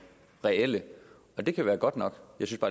reelle det kan være godt nok